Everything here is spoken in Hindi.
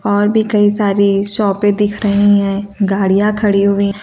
और भी कई सारी सौंपे दिख रही हैं गाड़ियां खड़ी हुई--